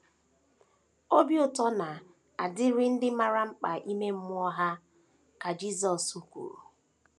“ Obi ụtọ na - adịrị ndị maara mkpa ime mmụọ ha, ” ka Jisọs kwuru.